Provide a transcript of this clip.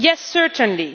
Yes, certainly.